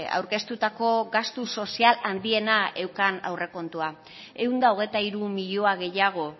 aurkeztutako gastu sozial handiena eukan aurrekontua ehun eta hogeita hiru milioi gehiago